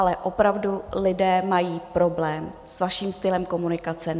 Ale opravdu, lidé mají problém s vaším stylem komunikace.